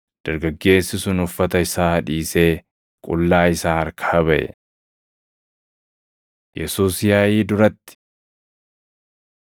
dargaggeessi sun uffata isaa dhiisee, qullaa isaa harkaa baʼe. Yesuus Yaaʼii Duratti 14:53‑65 kwf – Mat 26:57‑68; Yoh 18:12,13,19‑24 14:61‑63 kwf – Luq 22:67‑71